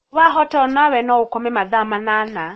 wahota no ũkome o nawe mathaa manana